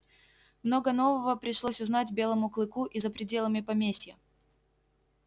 много нового пришлось узнать белому клыку и за пределами поместья